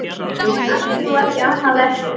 En ég ætti nú ekki annað eftir.